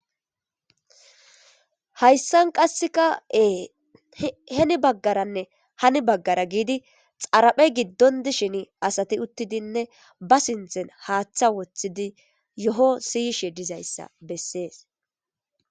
hayssan qasseka ee heni baggaranne hani baggara giidi xaraphe giddon dishin asati uttidinne ba sinthen haaththa woththidi yo7o siyishe dizayssa bessees